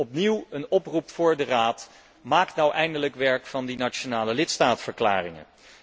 Opnieuw een oproep aan de Raad maak nu eindelijk werk van die nationale lidstaatverklaringen.